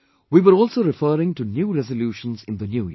We were also referring to new resolutions in the New Year